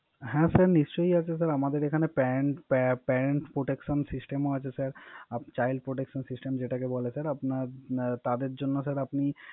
হ্যা স্যার নিশ্চই আসছে আসে স্যার। আমাদের Pant protection system ও আছে স্যা। Child protection system যেটাকে বলে। আপনার তাদের জন্য আপনি